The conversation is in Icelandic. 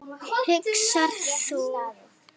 hugsar þú.